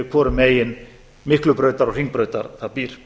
hvorum megin miklubrautar og hringbrautar það býr